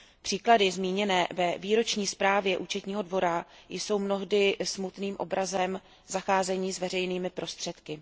Příklady zmíněné ve výroční zprávě Účetního dvora jsou mnohdy smutným obrazem zacházení s veřejnými prostředky.